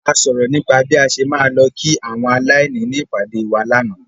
A sọ̀rọ̀ nípa bí a ṣe máa lọ kí àwọn aláìní ní ìpàdè wa lánàá.